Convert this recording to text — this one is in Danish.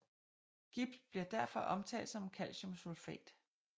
Gips bliver derfor omtalt som calciumsulfat